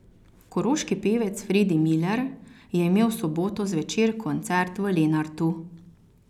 Koroški pevec Fredi Miler je imel v soboto zvečer koncert v Lenartu.